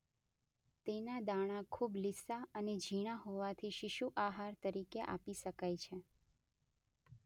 તેના દાણા ખૂબ લીસા અને ઝીણા હોવાથી શિશુઆહાર તરીકે આપી શકાય છે